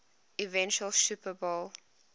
eventual super bowl